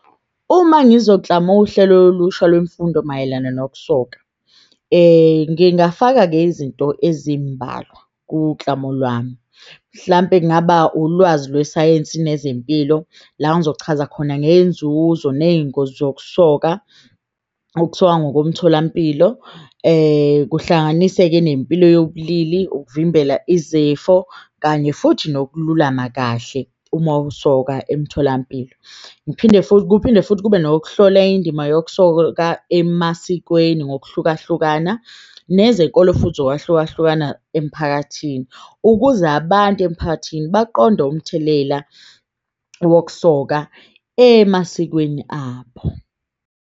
Uma uhlelo olusha lwemfundo mayelana nokusoka, ngingafaka-ke izinto ezimbalwa lwami mhlampe kungaba ulwazi lwesayensi nezempilo la ngizochaza khona ngenzuzo neyingozi zokusoka. Ukusoka ngomtholampilo, kuhlanganise-ke nempilo yobulili ukuvimbela izifo, kanye futhi nokululama kahle uma usoka emtholampilo. Ngiphinde futhi kuphinde futhi kube nokuhlola indima yokusoka emasikweni ngokuhlukahlukana nezenkolo, futhi ngokwahlukahlukana emphakathini ukuze abantu emphakathini baqonde umthelela wokusoka emasikweni abo.